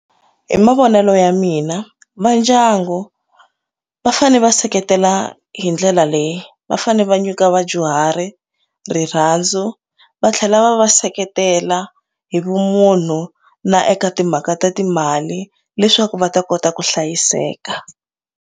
Hi mavonelo ya mina va ndyangu va fane va seketela hi ndlela leyi va fanele va nyika vadyuhari rirhandzu va tlhela va va seketela hi vumunhu na eka timhaka ta timali leswaku va ta kota ku hlayiseka.